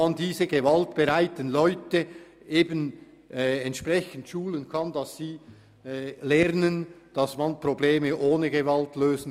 Mit diesen können gewaltbereite Leute geschult werden, damit sie lernen, Probleme ohne Gewalt zu lösen.